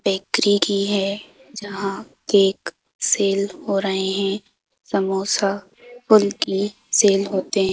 bakery की है जहाँ केक सेल हो रहे हैं समोसा कुल्फी सेल होते--